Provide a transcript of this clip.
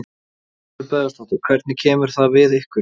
Elín Margrét Böðvarsdóttir: Hvernig kemur það við ykkur?